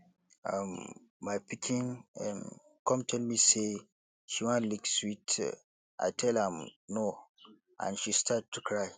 um my pikin um come tell me say she wan lick sweet i tell am no and she start to cry